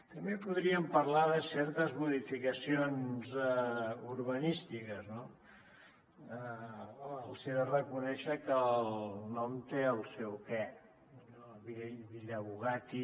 també podríem parlar de certes modificacions urbanístiques els he de reconèixer que el nom té el seu què villa bugatti